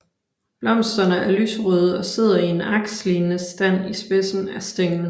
Blomsterne er lyserøde og sidder i en akslignende stand i spidsen af stænglen